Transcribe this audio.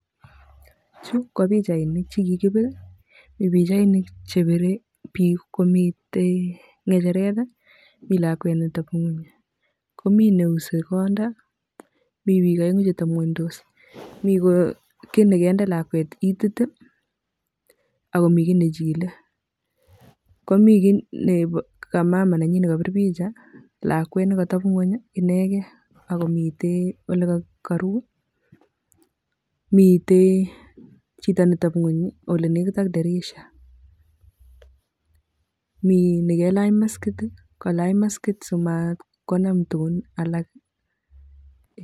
Chu kobichainik chekikibir mibichainik chebire biik komitei ngecheret mi lakwet netepngony, komii neuse konda mi bik aengu che tomngonydos mi ki nekende lakwet itiit akomi kit nechile komi ki ne kamama nenyi nekabir picha lakwet nekatepngony inekei akomite ole karu mitee chito netepgony ole nekitak dirisha. Mi nekelach maskit, kolach maskit simatkonam tugun alak.